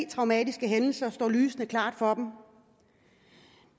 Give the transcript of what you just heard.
traumatiske hændelser står lysende klart for dem